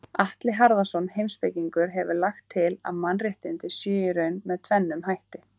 Atli Harðarson heimspekingur hefur lagt til að mannréttindi séu í raun með tvennum hætti.